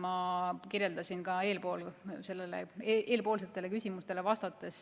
Ma kirjeldasin ka eelmistele küsimustele vastates